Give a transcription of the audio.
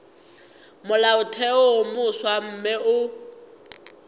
molaotheo wo mofsa mme o